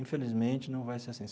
Infelizmente, não vai ser assim.